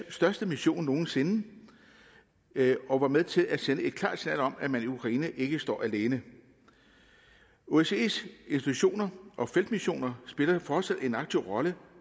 største mission nogen sinde og var med til at sende et klart signal om at man i ukraine ikke står alene osces institutioner og feltmissioner spiller fortsat en aktiv rolle